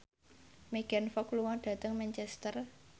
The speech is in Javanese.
Megan Fox lunga dhateng Manchester